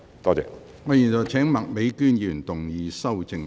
我現在請麥美娟議員動議修正案。